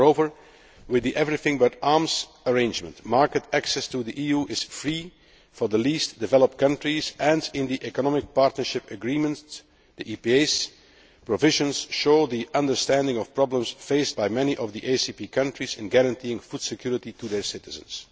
Moreover, with the Everything But Arms arrangement, market access to the EU is free for the least developed countries, and the provisions of the economic partnership agreements show an understanding of problems faced by many of the ACP countries in guaranteeing food security to their citizens.